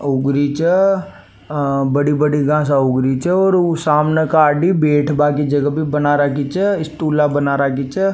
ऊगरी छ बड़ी बड़ी गासा ऊग री छे और ऊ सामना का आदमी बैठबा की जगह बना राखी छे स्टूला बना राखी छे।